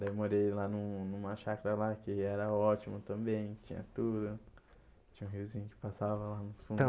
Daí morei lá num numa chácara lá, que era ótimo também, tinha tudo, tinha um riozinho que passava lá nos fundo.